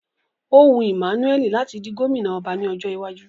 Ó wu Emmanuel láti di gómìnà ọba ní ọjọ́ iwájú